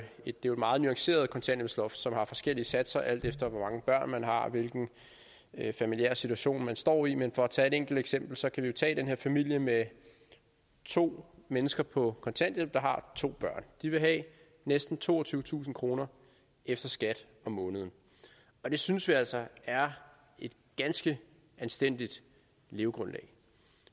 et meget nuanceret kontanthjælpsloft som har forskellige satser alt efter hvor mange børn man har og hvilken familiær situation man står i men for at tage et enkelt eksempel så kan vi jo tage den her familie med to mennesker på kontanthjælp der har to børn de vil have næsten toogtyvetusind kroner efter skat om måneden og det synes vi altså er et ganske anstændigt levegrundlag